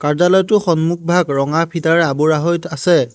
কাৰ্য্যালয়টোৰ সন্মূখভাগ ৰঙা ফিটাৰ আবোৰা হৈ আছে।